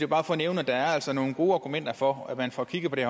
bare for at nævne at der altså er nogle gode argumenter for at man får kigget på det